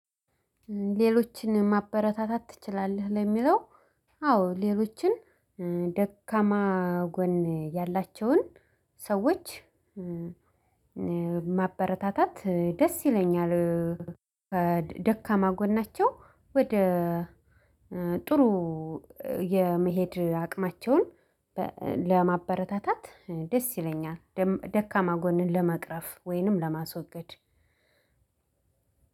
ሌሎችን ማበረታታት ትችላለህ ለሚለው? አዎ ሌሎችን ደካማ ጎን ያላቸውን ሰዎች ማበረታታት ደስ ይለኛል። ደካማ ጎናቸው ወደ ጥሩ የመሄድ አቅማቸውን ለማበረታታት ደስ ይለኛል ደካማ ጎንን ለመቅረፍ ወይንም ለማስወገድ።